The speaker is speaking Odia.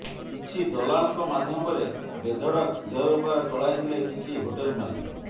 କିଛି ଦଲାଲଙ୍କ ମାଧ୍ୟମରେ ବେଧଡ଼କ ଦେହ ବେପାର ଚଳାଇଥିଲେ କିଛି ହୋଟେଲ ମାଲିକ